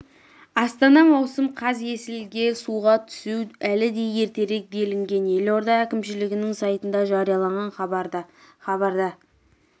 астана маусым қаз есілге суға түсу әлі де ертерек делінген елорда әкімшілігінің сайтында жарияланған хабарда хабарда